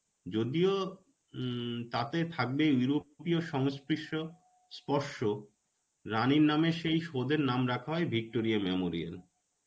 যদিও উম তাতে থাকবে europio সংস্প্রিও স্পর্শ রানীর নাম সেই সৌধের নাম রাখা হয় Victoria memorial.